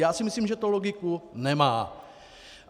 Já si myslím, že to loku nemá.